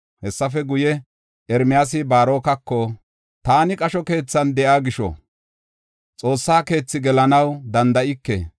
Hessafe guye, Ermiyaasi Baarokako, “Taani qasho keethan de7iya gisho, xoossa keethi gelanaw danda7ike.